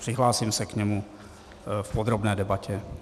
Přihlásím se k němu v podrobné debatě.